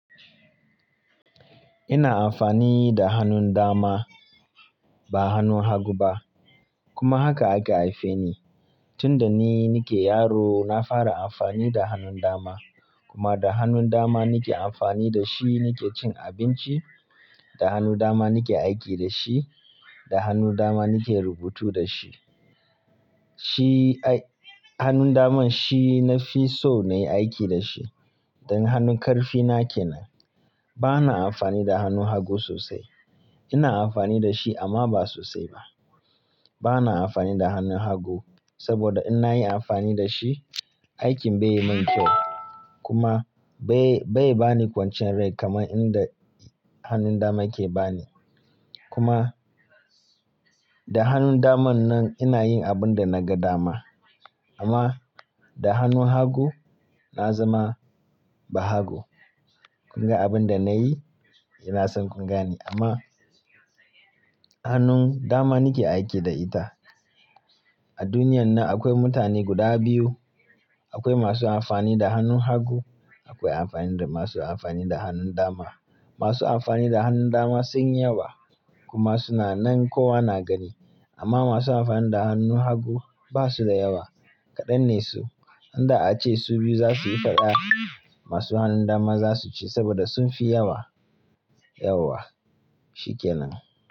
Ina amfani da hannun dama ba hannun hagu ba kuma haka aka haife ni. Tunda ni nake yaro na fara amfani da hannun dama kuma da hannun dama nake amfani da shi nake cin abinci, da hannu dama nake aiki da shi, da hannun dama nake rubutu da shi. Shi ai-- hannun daman shi nafi so na yi aiki da shi dan hannun ƙarfi na ke nan. Bana amfani da hannun hagu sosai. Ina amfani da shi amma ba sosai ba. Bana amfani da hannun hagu saboda in nayi amfani da shi, aikin bai min kyau kuma bai, bai bani kwanciyar rai kamar inda hannun dama ke bani. Kuma da hannun daman nan ina yin abun da naga dama amma da hannun hagu na zama bahago. Kunga abun da nayi eh na san kun gane amma hannun dama nake aiki da ita. A duniyan nan akwai mutane guda biyu. Akwai masu amfani da hannun hagu, akwai amfani da-- masu amfani da hannun dama. Masu amfani da hannun dama sunyi yawa kuma suna nan kowa na gani amma masu amfani da hannun hagu basu da yawa kaɗan ne su. Inda ace su biyu za suyi faɗa masu hannun dama za su ci saboda sun fi yawa. Yawwa shikenan.